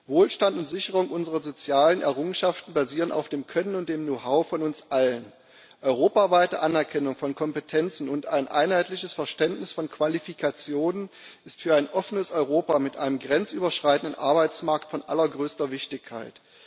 Wohlstand und Sicherung unserer sozialen Errungenschaften basieren auf dem Können und dem Know how von uns allen. Europaweite Anerkennung von Kompetenzen und ein einheitliches Verständnis von Qualifikationen sind für ein offenes Europa mit einem grenzüberschreitenden Arbeitsmarkt von allergrößter Wichtigkeit.